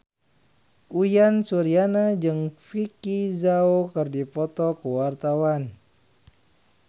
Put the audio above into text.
Uyan Suryana jeung Vicki Zao keur dipoto ku wartawan